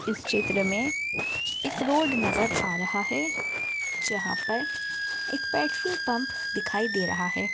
इस चित्र में एक रोड नजर आ रहा है जहाँ पर एक पेट्रोल पंप दिखाई दे रहा है।